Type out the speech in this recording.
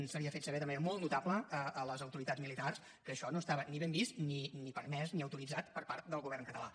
s’havia fet saber de manera molt notable a les autoritats militars que això no estava ni ben vist ni permès ni autoritzat per part del govern català